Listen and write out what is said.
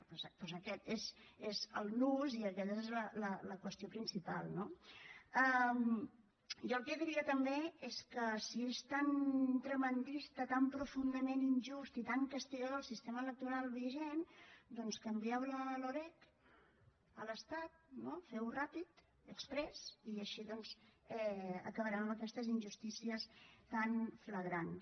doncs aquest és el nus i aquesta és la qüestió principal no jo el que diria també és que si és tan tremendista tan profundament injust i tan castigador el sistema electoral vigent doncs canvieu la loreg a l’estat no feu ho ràpid exprés i així doncs acabarem amb aquestes injustícies tan flagrants